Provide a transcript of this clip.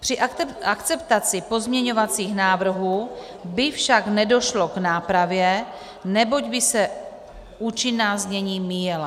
Při akceptaci pozměňovacích návrhů by však nedošlo k nápravě, neboť by se účinná znění míjela.